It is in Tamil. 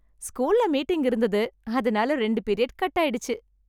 ஸ்கூல்ல மீட்டிங் இருந்தது அதனால ரெண்டு பீரியட் கட் ஆயிடுச்சு.